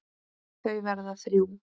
Þau verða þrjú.